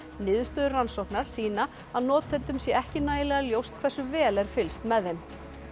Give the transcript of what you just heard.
niðurstöður rannsóknar sýna að notendum sé ekki nægilega ljóst hversu vel er fylgst með þeim